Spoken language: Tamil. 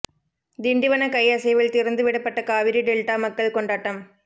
திண்டிவன கை அசைவில் திறந்து விடப்பட்ட காவிரி டெல்டா மக்கள் கொண்டாட்டம்